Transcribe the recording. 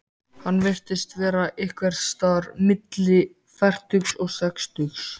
Hann virtist vera einhvers staðar milli fertugs og sextugs.